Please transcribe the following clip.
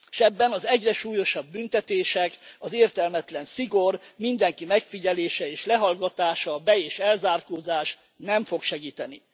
És ebben az egyre súlyosabb büntetések, az értelmetlen szigor, mindenki megfigyelése és lehallgatása, be és elzárkózás nem fog segíteni!